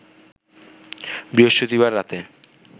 বৃহস্পতিবার রাতে